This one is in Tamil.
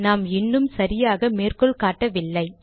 நாம் இன்னும் சரியாக மேற்கோள் காட்டவில்லை